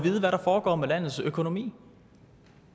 vide hvad der foregår med landets økonomi